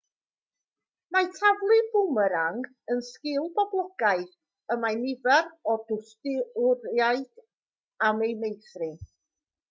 mae taflu bwmerang yn sgil boblogaidd y mae nifer o dwristiaid am ei meithrin